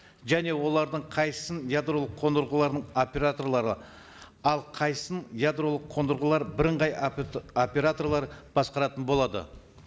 және олардың қайсысын ядролық қондырғыларының операторлары ал қайсысын ядролық қондырғылар бірыңғай операторлары басқаратын болады